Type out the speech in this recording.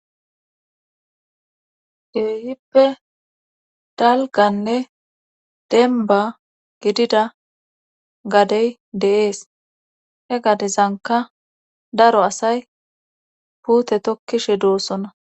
kehippe dalganne denba gidida gadey de'es he gadezanka daro asay puute tokkishe doossona